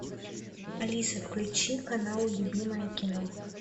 алиса включи канал любимое кино